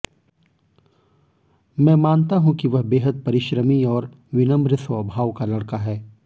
मैं मानता हूं कि वह बेहद परिश्रमी और विनम्र स्वभाव का लड़का है